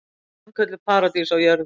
Sannkölluð paradís á jörðu.